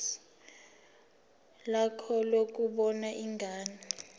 lakho lokubona ingane